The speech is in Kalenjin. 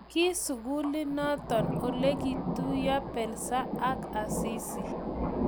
Ki sukulinoto Ole kituiyo Belsa ak Asisi